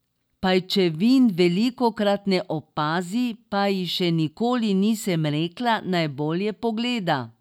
Pajčevin velikokrat ne opazi, pa ji še nikoli nisem rekla, naj bolje pogleda.